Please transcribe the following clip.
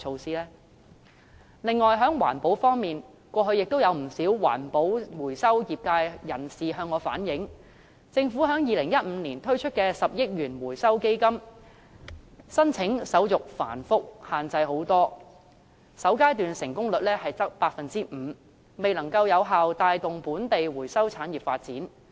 此外，在環保方面，過去不少環保回收業界人士向我反映，政府在2015年推出的10億元回收基金，申請手續繁複，限制甚多，首階段成功率只有 5%， 未能有效帶動本地回收產業發展。